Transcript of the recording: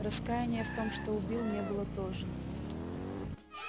раскаяния в том что убил не было тоже